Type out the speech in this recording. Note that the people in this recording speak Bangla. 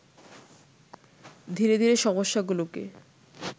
ধীরে ধীরে সমস্যাগুলোকে